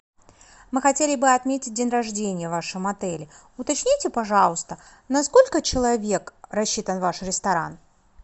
мы хотели бы отметить день рождения в вашем отеле уточните пожалуйста на сколько человек рассчитан ваш ресторан